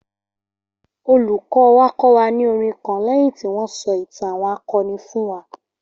Olùkọ́ wa kọ́ wa ní orin kan lẹ́yìn tí wọ́n sọ ìtàn àwọn akọni fún wa